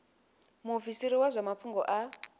muofisiri wa zwa mafhungo a